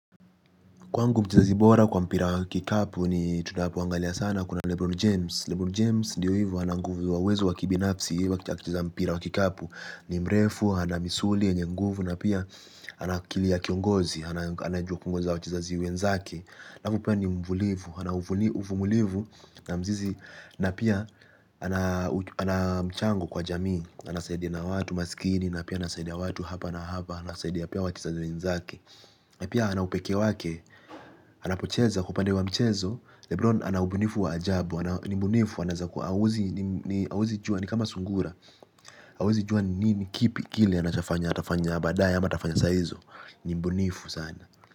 Kwangu mchezaji bora kwa mpira wa kikapu ni tunapoangalia sana kuna Lebron James Lebron James ndiyo hivo ana nguvu wa uwezo wa kibinafsi. Hivyo akitaka kucheza mpira wa kikapu ni mrefu, ana misuli, yenye nguvu. Na pia ana akili ya kiongozi, anaju kuongoza wachezaji wenzake halafu pia ni mvumilivu, ana uvumilivu na mzizi. Na pia ana mchango kwa jamii. Anasaidia na watu masikini, na pia anasaidia watu hapa na hapa. Anasaidia pia wachezaji wenzake. Na pia ana upekee wake. Anapocheza kwa upande wa mchezo Lebron ana ubunifu wa ajabu. Ni mbunifu huwezi jua ni kama sungura. Huwezi jua ni nini kipi kile. Anachofanya atafanya badaye ama atafanya saizo. Ni mbunifu sana.